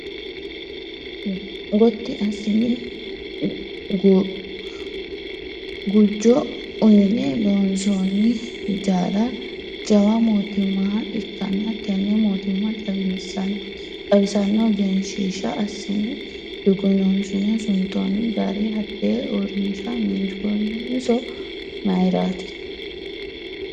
Goti assine gujo uyine loonsonni hijaara jawa mootimmaha ikkanna tene mootimma xawisano egensishsha assine dugununsine suntonni gari hatte uurrinsha minshoniso mayrati ?